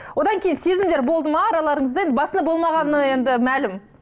одан кейін сезімдер болды ма араларыңызда енді басында болмағаны енді мәлім